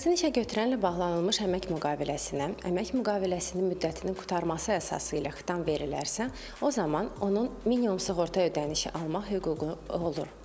Şəxsin işə götürənlə bağlanılmış əmək müqaviləsinə, əmək müqaviləsinin müddətinin qurtarması əsası ilə xitam verilərsə, o zaman onun minimum sığorta ödənişi almaq hüququ olur.